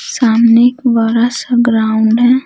सामने एक बड़ा सा ग्राउंड है।